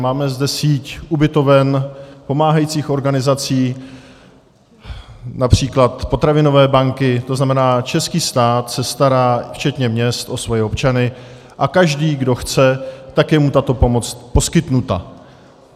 Máme zde síť ubytoven, pomáhajících organizací, například potravinové banky, to znamená, český stát se stará včetně měst o svoje občany a každý, kdo chce, tak je mu tato pomoc poskytnuta.